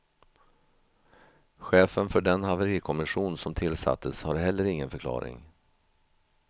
Chefen för den haverikommission som tillsattes har heller ingen förklaring.